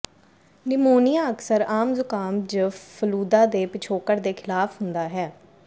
pneumonia ਅਕਸਰ ਆਮ ਜ਼ੁਕਾਮ ਜ ਫਲੂਦਾ ਦੇ ਪਿਛੋਕੜ ਦੇ ਖਿਲਾਫ ਹੁੰਦਾ ਹੈ